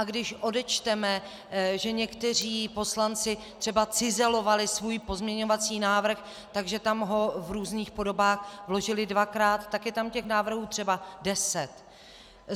A když odečteme, že někteří poslanci třeba cizelovali svůj pozměňovací návrh, takže ho tam v různých podobách vložili dvakrát, tak je tam těch návrhů třeba deset.